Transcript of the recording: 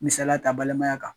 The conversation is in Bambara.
Misala ta balimaya kan.